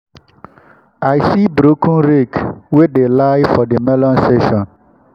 i see broken rake wey dey lie for the melon section.